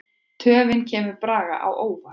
Töfin kemur Braga á óvart.